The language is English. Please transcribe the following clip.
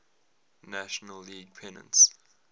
national league pennants